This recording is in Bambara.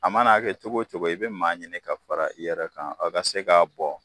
A mana'a kɛ cogo o cogo i bɛ maa ɲini ka fara i yɛrɛ kan a ka se ka bɔ.